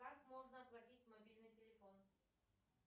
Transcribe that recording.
как можно оплатить мобильный телефон